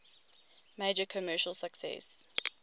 major commercial success